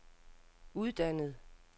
uddannet